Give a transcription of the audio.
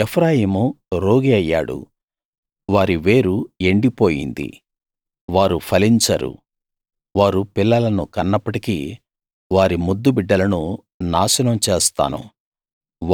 ఎఫ్రాయిము రోగి అయ్యాడు వారి వేరు ఎండిపోయింది వారు ఫలించరు వారు పిల్లలను కన్నప్పటికీ వారి ముద్దు బిడ్డలను నాశనం చేస్తాను